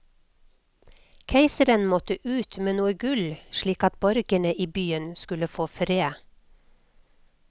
Keiseren måtte ut med noe gull, slik at borgerne i byen skulle få fred.